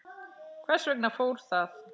Hvers vegna fór það?